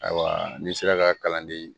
Ayiwa n'i sera ka kalan di